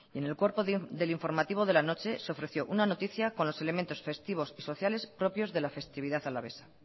en el cuerpo del informativo de la noche se ofreció una noticia con los elementos festivos y sociales propios de la festividad alavesa